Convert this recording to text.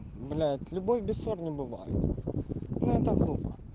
блять любовь без ссор не бывает ну это глупо